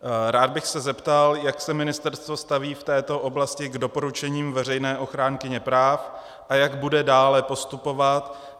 Rád bych se zeptal, jak se ministerstvo staví v této oblasti k doporučením veřejné ochránkyně práv a jak bude dále postupovat.